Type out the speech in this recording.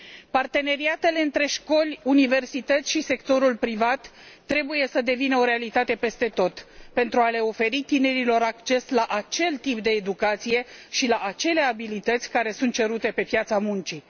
Parteneriatele între școli, universități și sectorul privat trebuie să devină o realitate peste tot, pentru a le oferi tinerilor acces la acel tip de educație și la acele abilități care sunt cerute pe piața muncii.